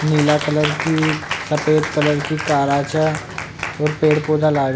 नीला कलर की सफ़ेद कलर की कारा छे और पेड़ पौधा लाग --